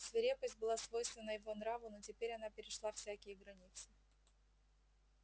свирепость была свойственна его нраву но теперь она перешла всякие границы